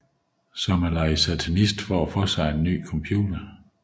Som at lege satanist for at få sig en ny computer